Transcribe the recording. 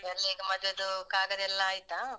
ಎಲ್ಲಾ ಈಗ್ ಮದ್ವೆದು ಕಾಗದ ಎಲ್ಲಾ ಆಯ್ತಾ?